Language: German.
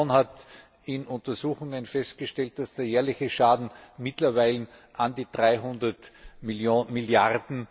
Die Kommission hat in Untersuchungen festgestellt, dass der jährliche Schaden mittlerweile an die 300 Mrd.